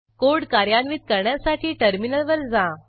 code कार्यान्वित करण्यासाठी टर्मिनलवर जा